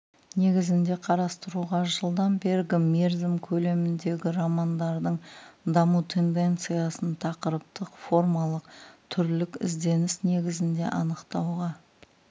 негізінде қарастыруға жылдан бергі мерзім көлеміндегі романдардың даму тенденциясын тақырыптық формалық түрлік ізденіс негізінде анықтауға